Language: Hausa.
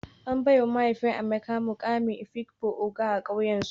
An baiwa mahaifin Amaka mukamin afikpo ogo a kauyensu